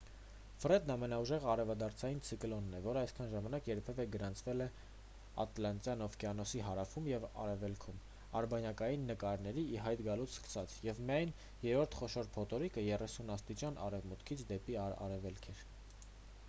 ֆրեդն ամենաուժեղ արևադարձային ցիկլոնն է որն այսքան ժամանակ երբևէ գրանցվել է ատլանտյան օվկիանոսի հարավում և արևելքում ` արբանյակային նկարների ի հայտ գալուց սկսած և միայն երրորդ խոշոր փոթորիկը` 35° արևմուտքից դեպի արևելք։